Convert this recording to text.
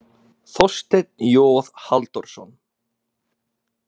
Þorsteinn J Halldórsson.